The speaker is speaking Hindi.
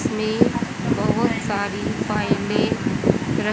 इसमें बहोत सारी फाइले रख--